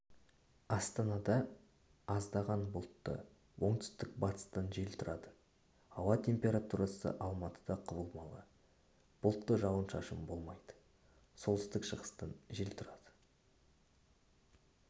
астанада аздаған бұлтты оңтүстік-батыстан жел тұрады ауа температурасы алматыда құбылмалы бұлтты жауын-шашын болмайды солтүстік-шығыстан жел тұрады